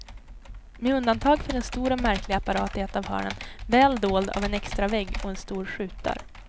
Med undantag för en stor och märklig apparat i ett av hörnen, väl dold av en extravägg och en stor skjutdörr.